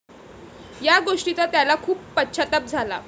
या गोष्टीचा त्याला खूप पश्चाताप झाला.